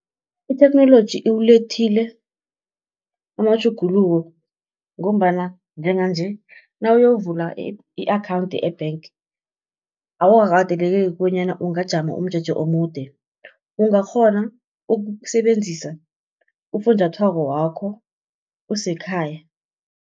Itheknoloji iwulethile amatjhuguluko ngombana njenganje nawuyokuvula i-akhawunti e-bank, awukakateleleki bonyana ungajama umjeje omude. Ungakghona ukusebenzisa ufunjathwako wakho usekhaya.